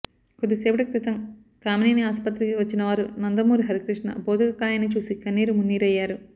కొద్దిసేపటి క్రితం కామినేని ఆస్పత్రికి వచ్చిన వారు నందమూరి హరికృష్ణ భౌతిక కాయాన్ని చూసి కన్నీరు మున్నీరయ్యారు